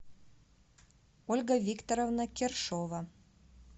ольга викторовна кершова